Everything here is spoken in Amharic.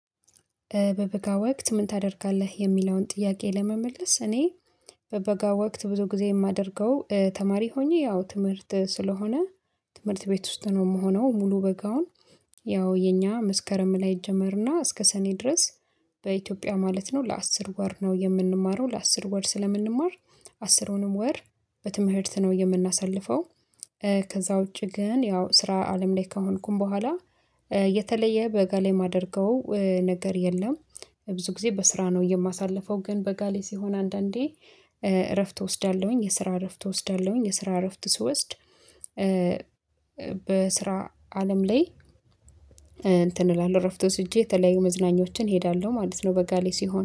በበጋ ወቅት ምን ታደርጋለህ? የሚለውን ጥያቄ ለመመለስ እኔ በበጋ ወቅት ብዙ ጊዜ የማደርገው ተማሪ ሆኜ ያው ትምህርት ስለሆነ ትምህርት ቤት ውስጥ ነው የምሆነው ሙሉ በጋውን ያው የኛ መስከረም ላይ ይጀመርና እስከ ሰኔ ድረስ በኢትዮጵያ ማለት ነው ለአስር ወር ነው የምንማረው ለአስር ወር ስለምንማር አስርውንም ወር በትምህርት ነው የምናሳልፈው። ከዛ ውጪ ግን ያው ስራ አለም ላይ ከሆንኩኝ ቦኋላ የተለየ በጋ ላይ የማደርገው ነገር የለም። ብዙ ጊዜ በስራ ነው የማሳልፈው ግን በጋ ላይ ሲሆን አንዳንዴ እረፍት እወስዳለሁኝ የስራ እረፍት እወስዳለሁኝ የስራ እረፍት ስወስድ በስራ አለም ላይ አንትን እላለሁ እረፍት ወስጄ የተለያዩ መዝናኞችን እሄዳለሁ ማለት ነው በጋ ላይ ሲሆን